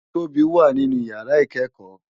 Tobi wá ninú iyàrá ikèékò